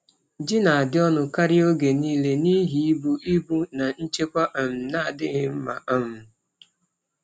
Ji na-adị ọnụ karịa oge niile n’ihi ibu ibu na nchekwa um na-adịghị mma. um